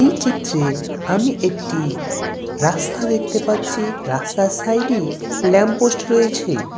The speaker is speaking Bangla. এই চিত্রে আমি একটি রাস্তা দেখতে পাচ্ছি। রাস্তার সাইড -এ ল্যাম্প পোস্ট রয়েছে--